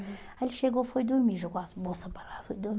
Aí ele chegou, foi dormir, jogou as bolsa para lá, foi dormir.